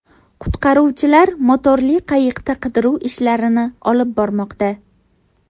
Qutqaruvchilar motorli qayiqda qidiruv ishlarini olib bormoqda.